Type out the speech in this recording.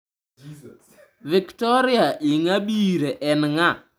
Victoria Ingabire en ng'a?